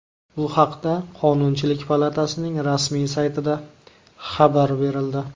Bu haqda Qonunchilik palatasining rasmiy saytida xabar berildi .